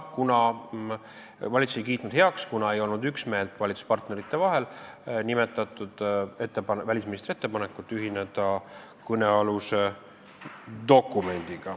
Valitsus ei kiitnud heaks välisministri ettepanekut ühineda kõnealuse dokumendiga, kuna valitsuspartnerid ei olnud üksmeelel.